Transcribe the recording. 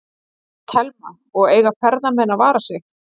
Telma: Og eiga ferðamenn að vara sig?